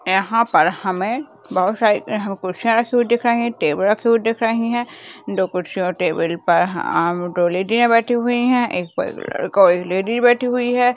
यहाँ पर हमें बहुत सारी कुर्सियां रखी हुई दिख रही है टेबुल रखी हुई दिख रही है दो कुर्सियों और टेबुल पर दो लेडीया बैठी हुई है एक पर कोई लेडी बैठी हुइ है।